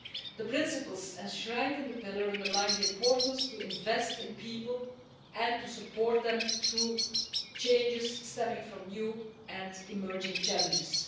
The principles enshrined in the Pillar underline the importance to invest in people and to support them through changes stemming from new and emerging challenges.